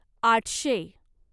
आठशे